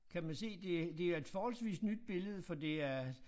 Kan man se det det er et forholdsvis nyt billede for det er